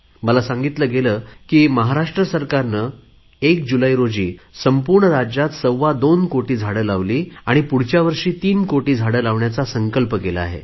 मला सांगितले गेले की महाराष्ट्र सरकारने एक जुलैला संपूर्ण राज्यात सव्वा दोन कोटी झाडे लावली आणि पुढच्यावर्षी तीन कोटी झाडे लावण्याचा संकल्प केला आहे